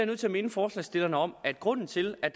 nødt til minde forslagsstillerne om at grunden til at